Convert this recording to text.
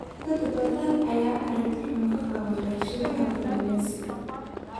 Dad badan ayaa aragti xun ka qaba warshadaha kalluumeysiga.